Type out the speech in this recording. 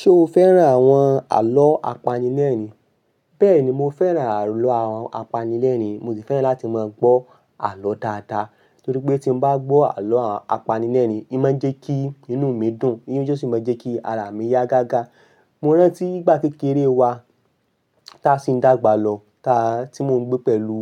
Ṣo fẹ́ran àwọn àlọ́ apanilẹ́rìn-ín? Bẹ́ẹ̀ni, mo fẹ́ran àlọ́ àwọn apanilẹ́rìn-ín. Mo sì fẹ́ràn láti máa gbọ́ àlọ́ dáadáa. Nítorí pé tí n bá gbọ́ àlọ́ apanilẹ́rìn-ín, e máa ń jẹ́ kí inú mi dùn. E sì máa ń jẹ́ kí ara mi yá gágá. Mo rántí ìgbà kékeré wa, ta sì ń dàgbà lọ, tí mo ń gbé pẹ̀lú